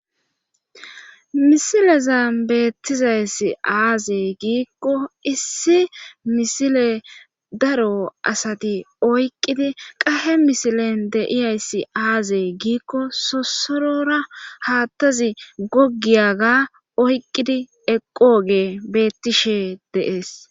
misileza beettizayssi aazey giikko issi misile daro asati oyqqidi qahe misilen deiyayssi aazee giikko sosorora haattazi goggiyaga oyqqidi eqooge beettishe de7es